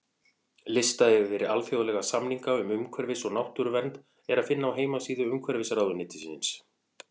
Lista yfir alþjóðlega samninga um umhverfis- og náttúruvernd er að finna á heimasíðu Umhverfisráðuneytisins.